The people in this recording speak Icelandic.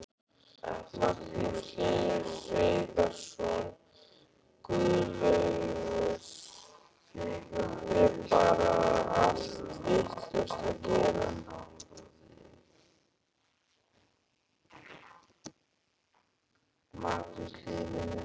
Magnús Hlynur Hreiðarsson: Guðlaugur, er bar allt vitlaust að gera?